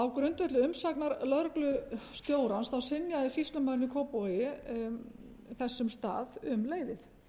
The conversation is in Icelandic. á grundvelli umsagnar lögreglustjórans þá synjaði sýslumaðurinn í kópavogi þessum stað um leyfið